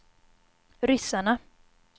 ryssarna